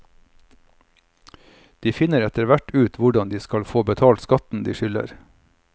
De finner etterhvert ut hvordan de skal få betalt skatten de skylder.